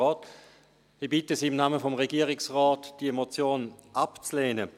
Ich bitte Sie im Namen des Regierungsrates, diese Motion abzulehnen.